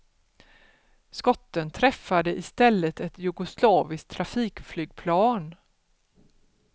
Skotten träffade istället ett jugoslaviskt trafikflygplan.